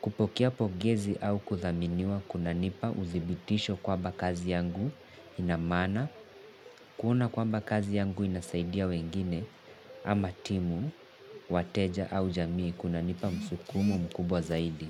kupokea pongezi au kuthaminiwa kunanipa uthibitisho kwamba kazi yangu inamaana, kuona kwamba kazi yangu inasaidia wengine ama timu, wateja au jamii kuna nipa msukumo mkubwa zaidi.